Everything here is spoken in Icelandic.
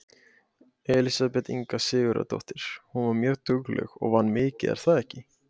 Elísabet Inga Sigurðardóttir: Hún var mjög dugleg og vann mikið er það ekki?